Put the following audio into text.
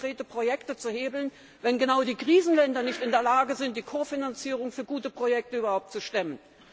Euro für konkrete Projekte zu hebeln, wenn genau die Krisenländer nicht in der Lage sind, die Kofinanzierung für gute Projekte überhaupt zu stemmen.